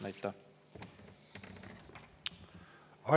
Aitäh!